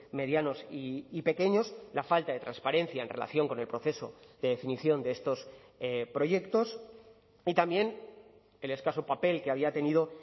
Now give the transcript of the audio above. medianos y pequeños la falta de transparencia en relación con el proceso de definición de estos proyectos y también el escaso papel que había tenido